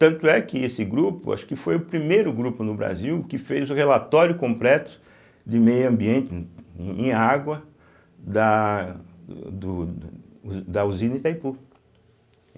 Tanto é que esse grupo, acho que foi o primeiro grupo no Brasil que fez o relatório completo de meio ambiente em em água da do do da usina Itaipu.